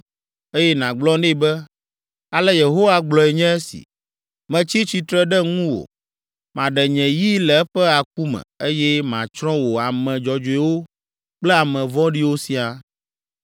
eye nàgblɔ nɛ be, ‘Ale Yehowa gblɔe nye esi: Metsi tsitre ɖe ŋuwò. Maɖe nye yi le eƒe aku me, eye matsrɔ̃ wò ame dzɔdzɔewo kple ame vɔ̃ɖiwo siaa.